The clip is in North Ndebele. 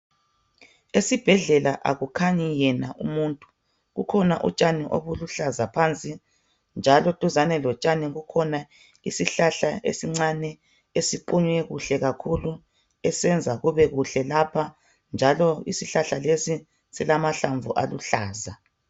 Esibhedlela akukhanyi yena umuntu. Kukhona utshani obuluhlaza phansi njalo duzane lotshani kukhona isihlahla esincane esiqunywe kuhle kakhulu esenza kubekuhle lapha njalo isihlahla lesi silamahlamvu aluhlaza.